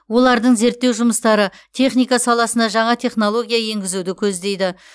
олардың зерттеу жұмыстары техника саласына жаңа технология енгізуді көздейді